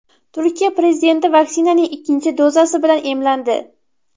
Turkiya prezidenti vaksinaning ikkinchi dozasi bilan emlandi.